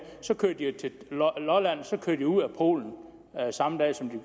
og så kører de til lolland så kører de ud af polen samme dag som